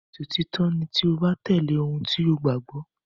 Ìṣòtítọ́ ni tí o bá tẹ̀lé ohun tí o gbàgbọ́.